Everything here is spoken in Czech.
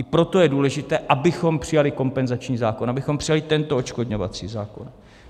I proto je důležité, abychom přijali kompenzační zákon, abychom přijali tento odškodňovací zákon.